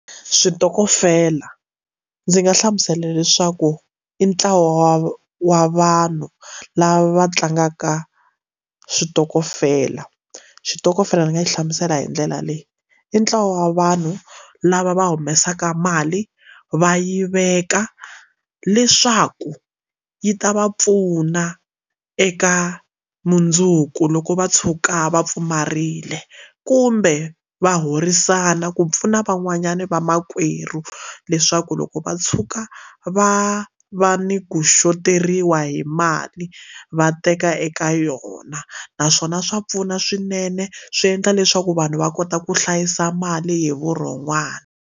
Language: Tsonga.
Switokofela ndzi nga hlamusela leswaku i ntlawa wa vanhu lava tlangaka switokofela switokofela ni nga yi hlamusela hi ndlela leyi i ntlawa wa vanhu lava va humesaka mali va yi veka leswaku yi ta va pfuna eka mundzuku loko va tshuka va pfumarile kumbe va horisana ku pfuna van'wanyana va makwerhu leswaku loko va tshuka va va ni kuxoteriwa hi mali va teka eka yona naswona swa pfuna swinene swi endla leswaku vanhu va kota ku hlayisa mali hi vurhon'wana.